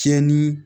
Fiyɛli